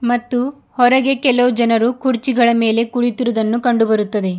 ಮತ್ತು ಹೊರಗೆ ಕೆಲವು ಜನರು ಕುರ್ಚಿಗಳ ಮೇಲೆ ಕುಳಿತಿರುವುದನ್ನು ಕಂಡು ಬರುತ್ತದೆ.